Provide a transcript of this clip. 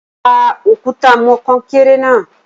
dá òkúta mọ konkere na